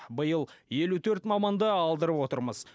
биыл елу төрт маманды алдырып отырмыз